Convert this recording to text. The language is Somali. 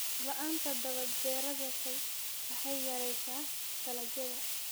Roob la'aanta daba dheeraatay waxay yaraysaa dalagyada.